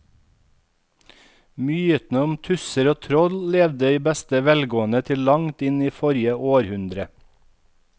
Mytene om tusser og troll levde i beste velgående til langt inn i forrige århundre.